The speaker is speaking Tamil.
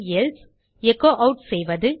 எல்சே எச்சோ ஆட் செய்வது